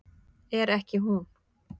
ekki er hún